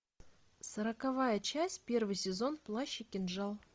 сороковая часть первый сезон плащ и кинжал